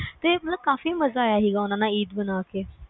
ਤੇ ਮਤਲਬ ਕਾਫੀ ਮਜਾ ਆਇਆ ਉਨ੍ਹਾਂ ਨਾਲ ਈਦ ਮਨਾ ਕੇ